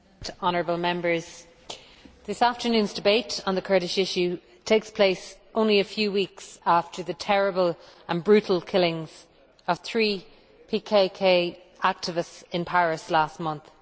Mr President, honourable Members, this afternoon's debate on the Kurdish issue takes place only a few weeks after the terrible and brutal killings of three PKK activists in Paris last month.